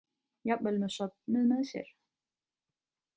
Jafnvel með söfnuð með sér.